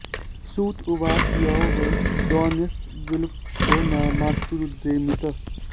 सूत उवाच यो वै द्रौण्यस्त्रविप्लुष्टो न मातुरुदरे मृतः